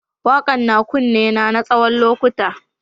Wakan na kunne na tsawon lokuta.